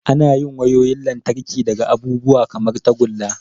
Ana yin wayoyin lantarki daga abubuwa kamar tagulla.